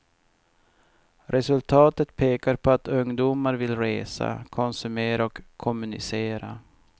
Resultatet pekar på att ungdomar vill resa, konsumera och kommunicera.